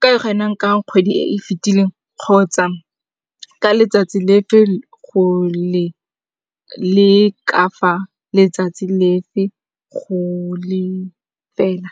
ka kgwedi e e fetileng kgotsa ka letsatsi le fe go le ka fa letsatsi le fe go le fela.